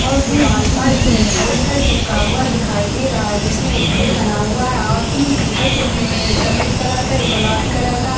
और दीवाल पर एक पोस्टर चिपका हुआ दिखाई दे रहा है जिसमे एक पेड़ बना हुआ है और तीन पेपर चिपके हुए हैं एक सफ़ेद कलर का एक गुलाबी कलर का।